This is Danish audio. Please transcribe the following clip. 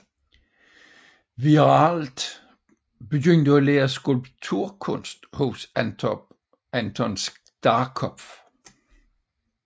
Wiiralt begyndte at lære skulpturkunst hos Anton Starkopf